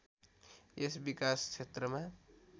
यस विकास क्षेत्रमा